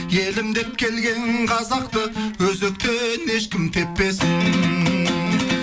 елім деп келген қазақты өзектен ешкім теппесін